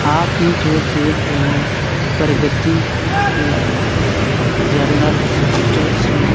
आप ई जो देख रहे हैं प्रगति ल जनरल स्टोर जिसमें --